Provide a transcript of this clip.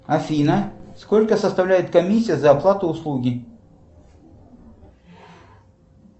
афина сколько составляет комиссия за оплату услуги